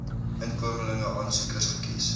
inkomeling aansoekers gekies